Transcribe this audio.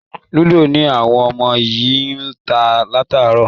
Lúdò ni àwọn ọmọ yìí ń ta látàárọ̀